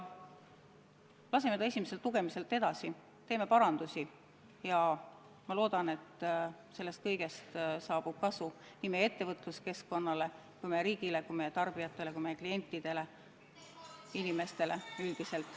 Laseme selle esimeselt lugemiselt läbi, teeme parandusi ja siis, ma loodan, tõuseb sellest kasu nii meie ettevõtluskeskkonnale kui meie riigile, nii meie tarbijatele kui ka klientidele, inimestele üldiselt.